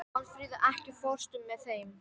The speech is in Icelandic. Málfríður, ekki fórstu með þeim?